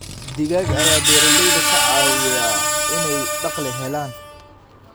Digaag ayaa beeralayda ka caawiya inay dakhli helaan.